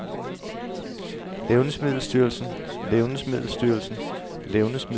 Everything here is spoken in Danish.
levnedsmiddelstyrelsen levnedsmiddelstyrelsen levnedsmiddelstyrelsen